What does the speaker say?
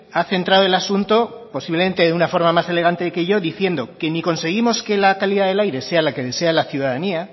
ha centrado el asunto posiblemente de una forma más elegante que yo diciendo que ni conseguimos que la calidad del aire sea la que desea la ciudadanía